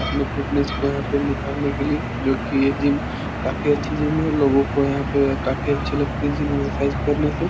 अपने फिटनेस को यहाँ पे निखारने के लिए जोकि ये जिम काफी अच्छी जिम है। लिगों को यहाँ पे काफी अच्छी लगती है जिम एक्सर्साइज़ करने से